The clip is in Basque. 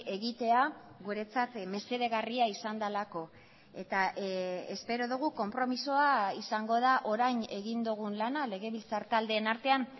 egitea guretzat mesedegarria izan delako eta espero dugu konpromisoa izango da orain egin dugun lana legebiltzar taldeen artean